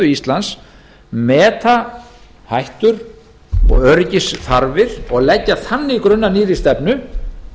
íslands meta hættur og öryggisþarfir og leggja þannig grunn að nýrri stefnu